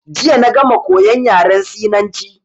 Jiya na gama koyan yaran Sinanci.